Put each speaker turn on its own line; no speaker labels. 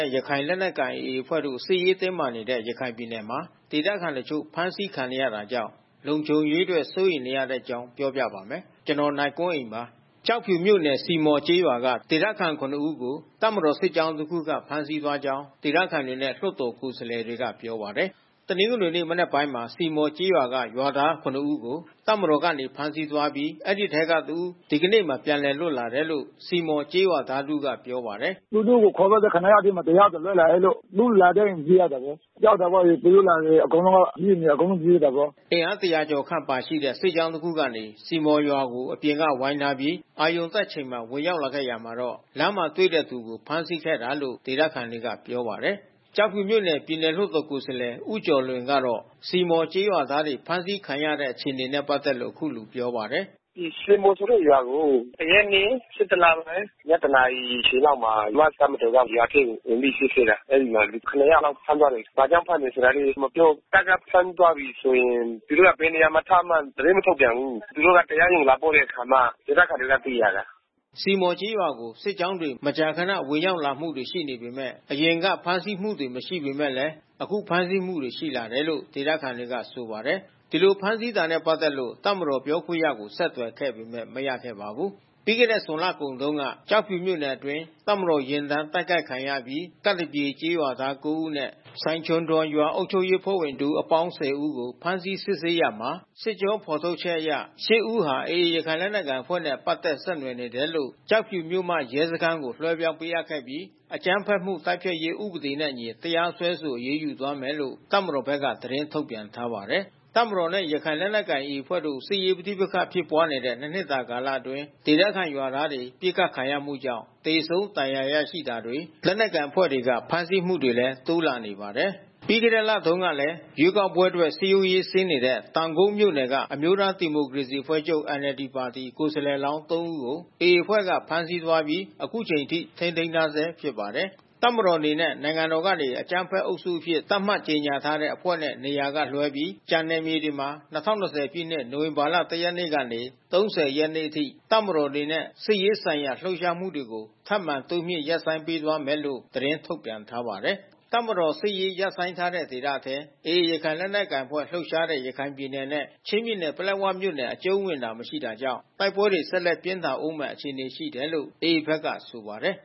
ဲ့ ရခိုင်လက်နက်ကိုင် AA အဖွဲ့တို့ စစ်ရေးတင်းမာနေတဲ့ ရခိုင်ပြည်နယ်မှာ ဒေသခံတချို့ ဖမ်းဆီးခံနေရတာကြောင့် လုံခြုံရေးအတွက် စိုးရိမ်နေတဲ့အကြောင်း ပြောပြပါမယ်။ ဗွီအိုအေမြန်မာပိုင်းသတင်းထောက် ကိုနိုင်ကွန်းအိန်က သတင်းပေးပို့ထားပါတယ်။ ကျောက်ဖြူမြို့နယ်၊ စည်မော်ကျေးရွာမှ ဒေသခံ ၇ ဦးကို တပ်မတော်စစ်ကြောင်း တစ်ခုကဖမ်းဆီးသွားကြောင်း ဒေသခံတွေနဲ့ လွှတ်တော်ကိုယ်စားလှယ်တွေကပြောပါတယ်။ တနင်္ဂနွေနေ့ မနက်ပိုင်းမှာ စည်မော်ကျေးရွာက ရွာသား ၇ ဦးကို တပ်မတော်ကနေ ဖမ်းဆီးသွားပြီး အဲဒီအထဲကတဦး ဒီကနေ့မှာ ပြန်လွတ်လာတယ်လို့ စည်မော်ကျေးရွာသားတဦးကပြောပါတယ်။ “သူတို့ခေါ်သွားတဲ့ ၇ ယောက်ထဲမှာ တယောက်ပြန်လွတ်လာတယ်လို့။ သူတို့လာတဲ့ပြေးရတာပေါ့၊ ကြောက်တာပေါ့။ သူတို့လာရင် အကုန်လုံးက ပြေးနေတာပေါ့။” အင်အား ၁ဝဝ ကျော်ခန့်ပါရှိတဲ့ စစ်ကြောင်းတစ်ခုကနေ စည်မော်ရွာကို အပြင် ဝိုင်းထားပြီး အရုဏ်တက်အချိန်မှာ ဝင်ရောက်လာခဲ့ရာမှာ လမ်းမှာတွေ့တဲ့သူကို ဖမ်းဆီးခဲ့တာလို့ ဒေသခံတွေကပြောပါတယ်။ ကျောက်ဖြူမြို့နယ် ပြည်နယ်လွှတ်တော်ကိုယ်စားလှယ်ဦးကျော်လွင်ကတော့ စည်မော်ကျေးရွာသားတွေ ဖမ်းဆီးခံရတဲ့အခြေအနေနဲ့ ပတ်သက်လို့ အခုလိုပြောပါတယ်။ “စည်မော်ဆိုတဲ့ရွာကို ၁ ရက်နေ့ ၁၁ လပိုင်း ညတနာရီအချိန်လောက်မှာ မြန်မာ့တပ်မတော်က ရွာထဲကိုဝင်ပြီး စစ်ဆေးတယ်။ အဲဒီမှာလူ ၇ လောက်ဖမ်းသွားတယ်။ ဘာကြောင့်ဖမ်းတယ်ဆိုတာလည်း မပြောဘူး။ တပ်က ဖမ်းဆီးသွားပြီဆိုရင် သူတို့က ဘယ်နေရာမှာထားမှန်းသတင်းမထုတ်ပြန်ဘူး။ သူတို့က တရားရုံးကို လာပို့တဲ့အခါမှ ဒေသခံတွေက သိရတာ။” စည်မော်ကျေးရွာကို စစ်ကြောင်းတွေ မကြာခဏ ဝင်ရောက်လာမှုတွေ ရှိနေပေမဲ့ အရင်ကဖမ်းဆီးမှုတွေမရှိပေမဲ့ အခုဖမ်းဆီးမှုတွေရှိလာတယ်လို့ ဒေသခံတွေက ဆိုပါတယ်။ ဒီလို ဖမ်းဆီးထားတာနဲ့ ပတ်သက်လို့ တပ်မတော်ပြောခွင့်ရကို ဆက်သွယ်ခဲ့ပေမဲ့ မရခဲ့ပါဘူး။ ပြီးခဲ့တဲ့ဇွန်လကုန်တုန်းက ကျောကဖြူမြို့နယ်အတွင်း တပ်မတော်ယာဉ်တန်း တိုက်ခိုက်ခံရအပြီး ကပ်သပြေကျေး ရွာသား ၉ ဦးနဲ့ စိုင်ခြုံဒွိန်ရွာအုပ်ချုပ်ရေးအဖွဲ့ဝင် တဦးအပေါင်း ၁၀ ဦးကို ဖမ်းဆီးစစ်ဆေးရာမှာ စစ်ကြော ဖော်ထုတ်ချက်တွေအရ ၈ ဦးဟာ AA ရခိုင်လက်နက်ကိုင်အဖွဲ့နဲ့ ပတ်သက် ဆက်နွယ်မှုရှိနေလို့ ကျောက်ဖြူမြို့မ ရဲစခန်းကို လွှဲပြောင်း ပေးအပ်ခဲ့ပြီး အကြမ်းဖက်မှု တိုက်ဖျက်ရေးဥပဒေနှင့်အညီ တရားစွဲဆို အရေးယူသွားမယ်လို့ တပ်မတော်ဘက်က သတင်းထုတ်ပြန်ထားပါတယ်။ တပ်မတော်နဲ့ ရခိုင်လက်နက်ကိုင် AA အဖွဲ့တို့ စစ်ရေးပဋိပက္ခဖြစ်ပွါးတဲ့ ၂ နှစ်တာကာလအတွင်း ဒေသခံရွာသားတွေ ပစ်ခတ်ခံရမှုကြောင့် သေဆုံးဒဏ်ရာရရှိတာတွေ လက်နက်ကိုင်အဖွဲ့တွေက ဖမ်းဆီးမှုတွေလည်း တိုးလာနေပါတယ်။ ပြီးခဲ့တဲ့ လထဲမှာတုန်းကလည်း ရွေးကောက်ပွဲအတွက် စည်းရုံးရေးဆင်းနေတဲ့ တောင်ကုတ်မြို့နယ်က အမျိုးသားဒီမိုကရေစီအဖွဲ့ချုပ် (NLD) ပါတီ ကိုယ်စားလှယ်လောင်း ၃ ဦးကို AA တပ်ဖွဲ့က ဖမ်းဆီးသွားပြီး အခုအချိန်အထိ ထိန်းသိမ်းထားဆဲဖြစ်ပါတယ်။ တပ်မတော်အနေနဲ့ နိုင်ငံတော်ကနေ အကြမ်းဖက်အုပ်စုအဖြစ် သတ်မှတ်ကြေညာထားတဲ့အဖွဲ့နဲ့ နေရာကလွှဲပြီး ကျန်နယ်မြေတွေမှာ ၂၀၂၀ ပြည့်နှစ်၊ နိုဝင်ဘာလ ၁ ရက်မှ ၃၀ ရက်အထိ တပ်မတော်အနေနဲ့ စစ်ရေးဆိုင်ရာ လှုပ်ရှားမှုတွေကို ထပ်မံတိုးမြှင့်ရပ်ဆိုင်းပေးသွားမယ်လို့ သတင်းထုတ်ပြန်ထားပါတယ်။ တပ်မတော်စစ်ရေး ရပ်ဆိုင်းဒေသထဲ AA ရခိုင်လက်နက်ကိုင်အဖွဲ့လှုပ်ရှားတဲ့ ရခိုင်ပြည်နယ်နဲ့ချင်းပြည်နယ် ပလက်ဝမြို့နယ် အကျုံးဝင်တာ မရှိတာကြောင့် တိုက်ပွဲဆက်လက်ပြင်းထန်ဦးမယ့် အခြေအနေရှိတယ်လို့ AA ဘက်က ဆိုပါတယ်